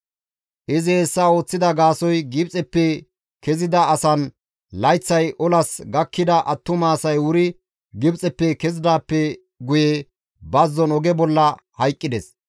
Izi hessa ooththida gaasoykka Gibxeppe kezida asan layththay olas gakkida attuma asay wuri Gibxeppe kezidaappe guye bazzon oge bolla hayqqides.